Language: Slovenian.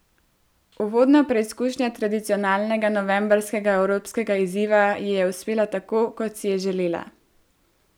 Uvodna preizkušnja tradicionalnega novembrskega evropskega izziva ji je uspela tako, kot si je želela.